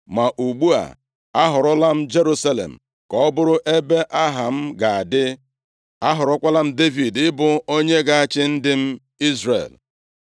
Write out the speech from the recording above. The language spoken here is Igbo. Ma ugbu a, a họrọla m Jerusalem ka ọ bụrụ ebe Aha m ga-adị, ahọrọkwala m Devid ị bụ onye ga-achị ndị m Izrel.’